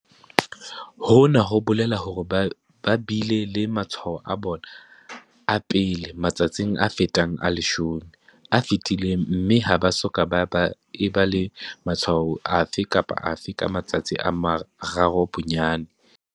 Hona ho bolela hore ba bile le matshwao a bona a pele matsatsing a fetang a 10 a fetileng mme ha ba soka ba eba le matshwao afe kapa afe ka matsatsi a mararo bonyane.